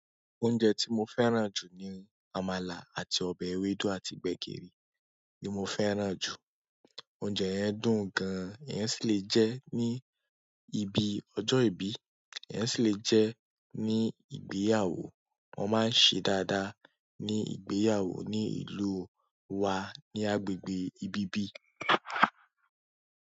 Oúnjẹ tí mo fẹ́ràn jù ni àmàlà àti ọbẹ̀ ewédú àti gbẹ̀gìrì ní mo fẹ́ràn jù. Oúnjẹ yẹn dùn gan, iyan sì le jẹ́ ní ibi ọjọ́ ìbí, iyan sì lè jẹ́ ní ìgbéyàwó. Wọ́n máa ń ṣe dáadáa ní ìgbéyàwó ní ìlú wa ní agbègbè ibi bí.